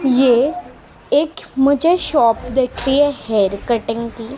ये एक मुझे शॉप दिख री है हेयर कटिंग की --